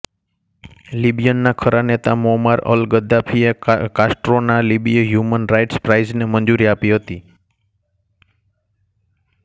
લિબીયનના ખરા નેતા Muammar al Gaddafi એ કાસ્ટ્રોના લિબીય હ્યુમન રાઇટ્સ પ્રાઇઝને મંજૂરી આપી હતી